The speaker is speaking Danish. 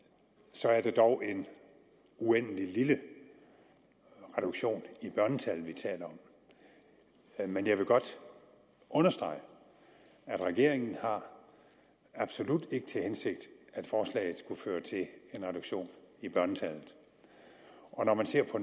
så er det dog en uendelig lille reduktion i børnetallet vi taler om men jeg vil godt understrege at regeringen absolut ikke har til hensigt at en reduktion i børnetallet og når man ser på